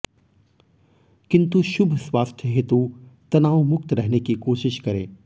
किन्तु शुभ स्वास्थ्य हेतु तनाव मुक्त रहने की कोशिश करें